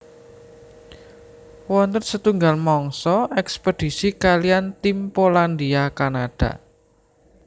Wonten setunggal mangsa ekspedisi kaliyan tim Polandia Kanada